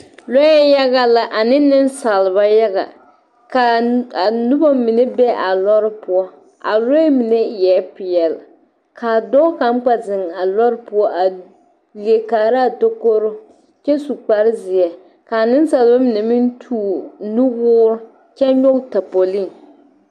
Lɔɛ yaga la ane nensaalba yaga ka a noba mine be a lɔɔre poɔ a lɔɛ mine eɛ peɛle k'a dɔɔ kaŋ kpɛ zeŋ a lɔɔre poɔ a leɛ kaaraa tokoroo kyɛ su kpare zeɛ ka a nensaalba mine meŋ toore nuwoore kyɛ nyɔge tapolii.